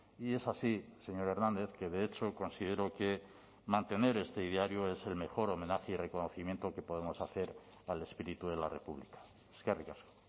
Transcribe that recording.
y es así señor hernández que de hecho considero que mantener este ideario es el mejor homenaje y reconocimiento que podemos hacer al espíritu de la república eskerrik asko